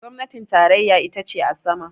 gwamnatin tarayya ita ce a sama